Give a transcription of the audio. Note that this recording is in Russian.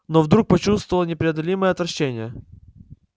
но вдруг почувствовал непреодолимое отвращение